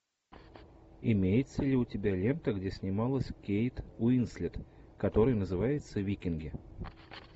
имеется ли у тебя лента где снималась кейт уинслет который называется викинги